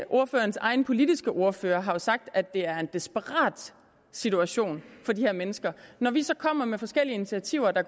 ordførerens egen politiske ordfører har jo sagt at det er en desperat situation for de her mennesker når vi så kommer med forskellige initiativer der